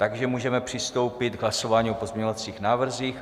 Takže můžeme přistoupit k hlasování o pozměňovacích návrzích.